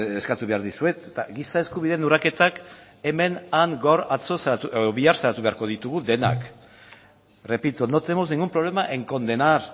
eskatu behar dizuet eta giza eskubideen urraketak hemen han gaur atzo edo bihar salatu beharko ditugu denak repito no tenemos ningún problema en condenar